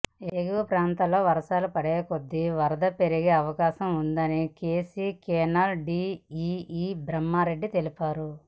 ఎగువ ప్రాంతాల్లో వర్షాలు పడేకొద్దీ వరద పెరిగే అవకాశం ఉందని కేసీ కెనాల్ డీఈఈ బ్రహ్మారెడ్డి తెలిపారు